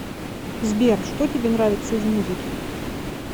сбер что тебе нравится из музыки